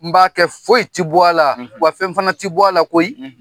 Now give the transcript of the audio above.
N b'a kɛ foyi ti bɔ a la, wa fɛn fana ti bɔ a la koyi .